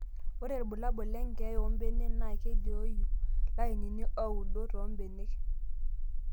Ore rbulabol lenkeeya oo mbenek naa kelioyu lainini ooudo too mbenek.